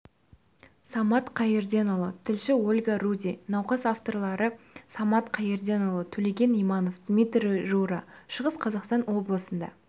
самат қайырденұлы тілші ольга руди науқас авторлары самат қайырденұлы төлеген иманов дмитрий рура шығыс қазақстан облысында